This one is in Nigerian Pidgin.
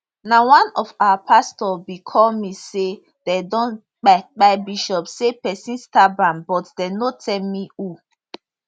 na one of our pastor bin call me say dem don kpai kpai bishop say pesin stab am but dem no tell me who